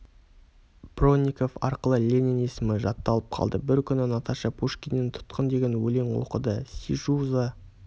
бронников арқылы ленин есімі жатталып қалды бір күні наташа пушкиннен тұтқын деген өлең оқыды сижу за